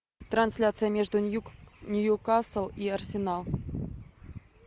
трансляция между ньюкасл и арсенал